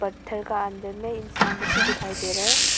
घर का अंदर में इंसान लोग भी दिखाई दे रहे हैं।